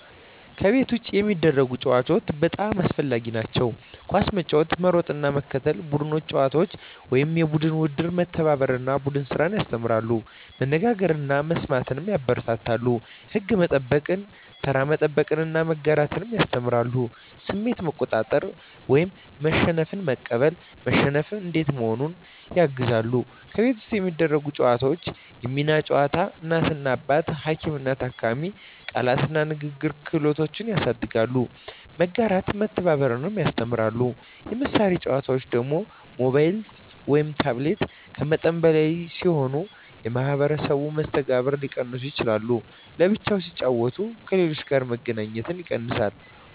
ከቤት ውጭ የሚደረጉ ጨዋታዎች (በጣም አስፈላጊ) ኳስ መጫወት መሮጥና መከታተል ቡድን ጨዋታዎች (የቡድን ውድድር) መተባበርን እና ቡድን ስራን ያስተምራሉ መነጋገርን እና መስማትን ያበረታታሉ ሕግ መከተል፣ መጠበቅ (ተራ መጠበቅ) እና መጋራት ያስተምራሉ ስሜት መቆጣጠር (መሸነፍን መቀበል፣ መሸነፍ እንዴት መሆኑን) ያግዛሉ ከቤት ውስጥ የሚደረጉ ጨዋታዎች የሚና ጨዋታ (እናት–አባት፣ ሐኪም–ታካሚ) ቃላት እና ንግግር ክህሎት ያሳድጋሉ መጋራትና መተባበር ያስተምራሉ የመሳሪያ ጨዋታዎች (ሞባይል/ታብሌት) ከመጠን በላይ ሲሆኑ የማኅበራዊ መስተጋብርን ሊቀንሱ ይችላሉ በብቻ ሲጫወቱ ከሌሎች ጋር መገናኘት ይቀንሳል